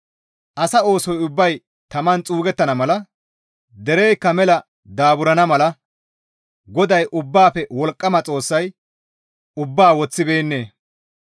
Asa oosoy ubbay taman xuugettana mala dereykka mela daaburana mala GODAY Ubbaafe Wolqqama Xoossay ubbaa woththibeennee?